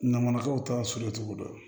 Nana manakaw ta so cogo dɔn